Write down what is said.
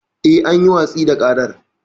Yes, an yi watsi da ƙarar.